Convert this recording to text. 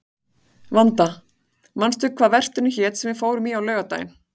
Vanda, manstu hvað verslunin hét sem við fórum í á laugardaginn?